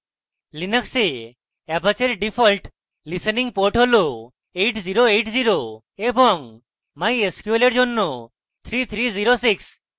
linux এ apache in default listening port হল 8080 এবং mysql in জন্য 3306